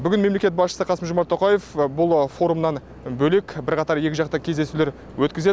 бүгін мемлекет басшысы қасым жомарт тоқаев бұл форумнан бөлек бірқатар екіжақты кездесулер өткізеді